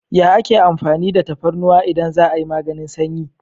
Ya ake amfani da tafarnuwa idan za'a yi maganin sanyi?